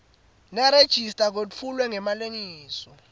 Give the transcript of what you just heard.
nerejista kwetfulwe ngemalengiso